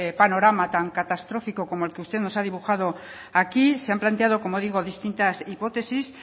panorama tan catastrófico como el que usted nos ha dibujado aquí se han planteado como digo distintas hipótesis